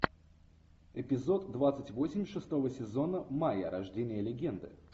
эпизод двадцать восемь шестого сезона майя рождение легенды